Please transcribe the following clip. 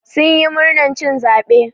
Sun yi murnar cin caɓe.